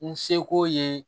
N seko ye